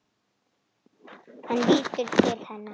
Hann lítur til hennar.